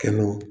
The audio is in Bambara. Kɛmɛ o